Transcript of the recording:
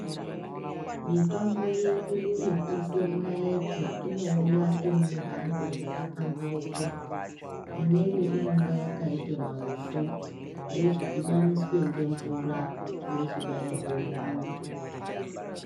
Mitombo yedu yeku ise mu naiti ino uya iri mu mhando dzaka pambauka imweni inonga yakaita maupfu yochi dhibaniswa nge mvura yochi bairwa mu muntu.